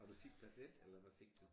Og du fik plads 1 eller hvad fik du